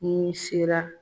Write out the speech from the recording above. N'i sera